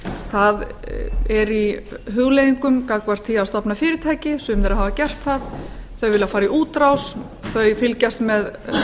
það er í hugleiðingum gagnvart því að stofna fyrirtæki sum þeirra hafa gert það þau vilja fara í útrás þau fylgjast með